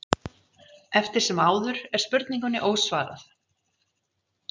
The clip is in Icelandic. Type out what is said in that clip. Eftir sem áður er spurningunni ósvarað.